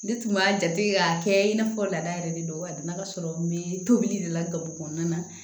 Ne tun b'a jate k'a kɛ i n'a fɔ laada yɛrɛ de don a nana ka sɔrɔ n bɛ tobili de la gaburu kɔnɔna na